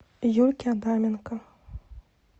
юльке адаменко